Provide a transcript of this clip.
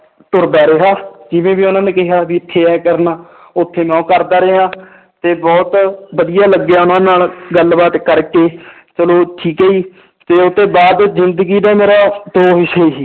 ਤੁਰਦਾ ਰਿਹਾ ਜਿਵੇਂ ਵੀ ਉਹਨਾਂ ਨੇ ਕਿਹਾ ਵੀ ਇੱਥੇ ਇਉਂ ਕਰਨਾ ਉੱਥੇ ਮੈਂ ਉਹ ਕਰਦਾ ਰਿਹਾ ਤੇ ਬਹੁਤ ਵਧੀਆ ਲੱਗਿਆ ਉਹਨਾਂ ਨਾਲ ਗੱਲਬਾਤ ਕਰਕੇ ਚਲੋ ਠੀਕ ਹੈ ਜੀ ਤੇ ਉਹ ਤੋਂ ਬਾਅਦ ਜ਼ਿੰਦਗੀ ਦਾ ਮੇਰਾ ਦੋ ਹਿੱਸੇ ਸੀ